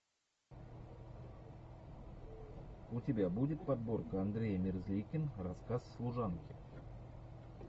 у тебя будет подборка андрей мерзликин рассказ служанки